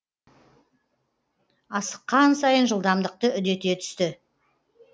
асыққан сайын жылдамдықты үдете түсті